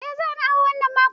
Eh zani awo wannan makon.